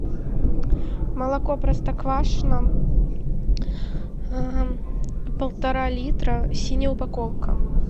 молоко простоквашино полтора литра синяя упаковка